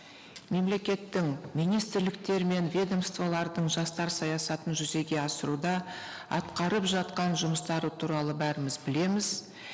мемлекеттің министрліктер мен ведомстволардың жастар саясатын жүзеге асыруда атқарып жатқан жұмыстары туралы бәріміз білеміз